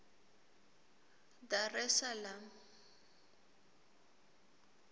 dar es salaam